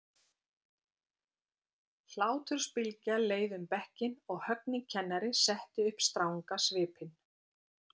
Hlátursbylgja leið um bekkinn og Högni kennari setti upp stranga svipinn.